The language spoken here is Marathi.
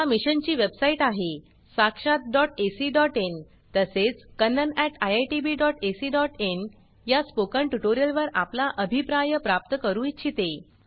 या मिशन ची वेबसाइट आहे sakshatacइन तसेच kannaniitbacin या स्पोकन ट्युटोरियल वर आपला अभिप्राय प्राप्त करू इच्छिते